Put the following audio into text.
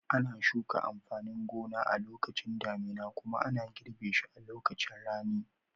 Ana shuka amfanin gona a lokacin damina kuma ana girbe shi a lokacin rani.